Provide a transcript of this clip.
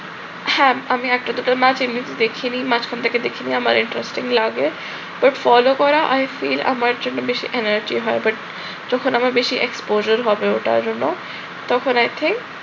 হ্যাঁ আমি একটা দুটো match এমনিতে দেখিনি, মাঝখান থেকে দেখিনি আমার interesting লাগে। ওই follow করা আর still আমার জন্য বেশি energy হয় but যখন আমার বেশি exposure হবে ওটার জন্য তখন i think